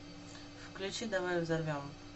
включи давай взорвем